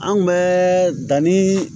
An kun bɛ danni